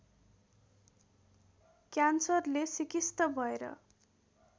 क्यान्सरले सिकिस्त भएर